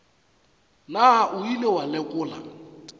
na o ile wa lekola